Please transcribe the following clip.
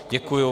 Děkuji.